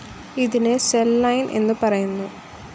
ഇതിനെ cell line എന്ന്പറയുന്നു.